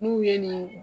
N'u ye nin